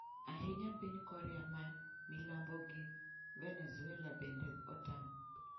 Ahinya piny Korea ma milambo gi Venezuela bende otam.